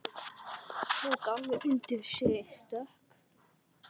Tók alveg undir sig stökk!